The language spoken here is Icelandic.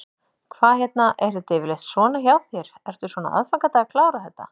Hvað hérna, er þetta yfirleitt svona hjá þér, ertu svona á aðfangadag að klára þetta?